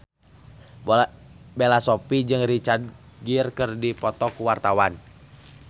Bella Shofie jeung Richard Gere keur dipoto ku wartawan